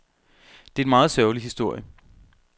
Det er en meget sørgelig historie.